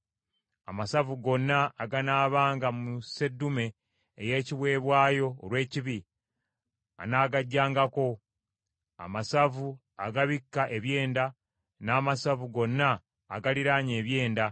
Amasavu gonna aganaabanga mu sseddume ey’ekiweebwayo olw’ekibi, anaagaggyangako: amasavu agabikka ebyenda, n’amasavu gonna agaliraanye ebyenda,